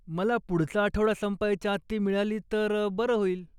मला पुढचा आठवडा संपायच्या आत ती मिळाली तर बरं होईल.